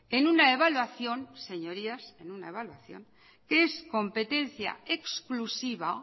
en una evaluación señorías en una evaluación es competencia exclusiva